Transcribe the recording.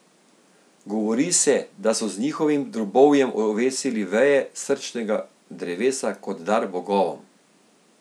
Govori se, da so z njihovim drobovjem ovesili veje srčnega drevesa kot dar bogovom.